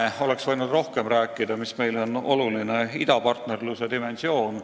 Rohkem oleks võinud rääkida idapartnerluse dimensioonist, mis on meile oluline.